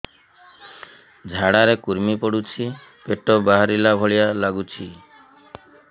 ଝାଡା ରେ କୁର୍ମି ପଡୁଛି ପେଟ ବାହାରିଲା ଭଳିଆ ଲାଗୁଚି